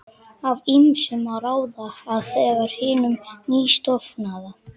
Af ýmsu má ráða, að þegar hinum nýstofnaða